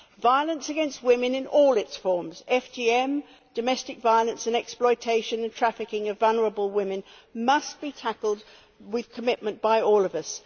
Violence against women in all its forms FGM, domestic violence and the exploitation and trafficking of vulnerable women must be tackled with commitment by all of us.